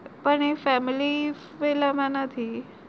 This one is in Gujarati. એ family પેલામાં નથી